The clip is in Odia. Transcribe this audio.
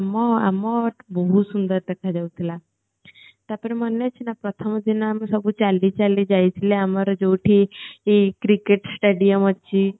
ଆମ ଆମ ଆମଟା ବହୁତ ସୁନ୍ଦର ଦେଖାଯାଉଥିଲା ତାପରେ ମନେ ଅଛି ନା ପ୍ରଥମ ଦିନ ଆମେ ସବୁ ଚାଲିଚାଲି ଯାଇଥିଲେ ଆମର ଯୋଉଠି cricket stadium ଅଛି